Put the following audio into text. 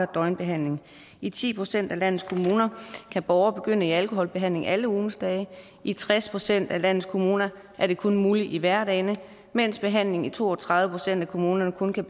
døgnbehandling i ti procent af landets kommuner kan borgere begynde i alkoholbehandling alle ugens dage i tres procent af landets kommuner er det kun muligt i hverdagene mens behandlingen i to og tredive procent af kommunerne kun kan